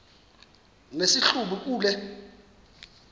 nesi hlubi kule